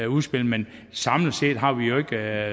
udspil men samlet set har vi jo ikke